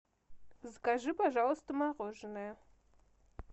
закажи пожалуйста мороженое